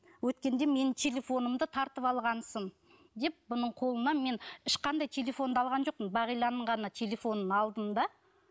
өткенде менің телефонымды тартып алғансың деп бұның қолынан мен ешқандай телефонды алған жоқпын бағиланың ғана телефонын алдым да